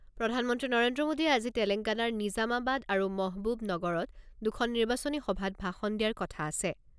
প্ৰধানমন্ত্ৰী নৰেন্দ্ৰ মোদীয়ে আজি তেলেংগানৰ নিজামাবাদ আৰু মহবুবনগৰত দুখন নিৰ্বাচনী সভাত ভাষণ দিয়াৰ কথা আছে।